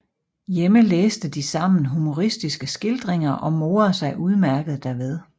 Hjemme læste de sammen humoristiske skildringer og morede sig udmærket derved